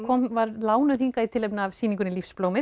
var lánuð hingað í tilefni af sýningunni